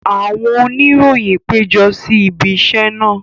Àwọn oníròyìn pejọ si ibi isẹ naa.